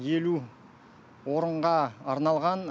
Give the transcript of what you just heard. елу орынға арналған